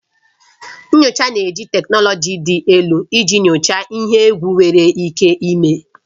Nyocha na-eji teknụlọji dị elu iji nyochaa ihe egwu nwere ike ime.